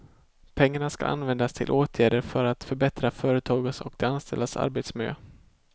Pengarna skall användas till åtgärder för att förbättra företagens och de anställdas arbetsmiljö.